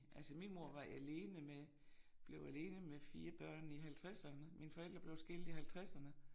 Altså min mor var alene med blev alene med 4 børn i halvtredserne. Mine forældre blev skilt i halvtredserne